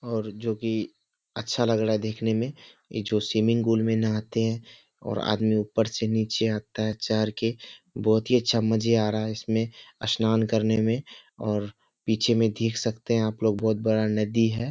और जो की अच्छा लग रहा है देखने में इ जो स्विमिंग पूल में नहाते हैं और आदमी ऊपर से नीचे आता है चढ़ के बहुत ही अच्छा मजे आ रहा है इसमे स्नान करने में और पीछे में देख सकते हैं आपलोग बहुत बड़ा नदी है।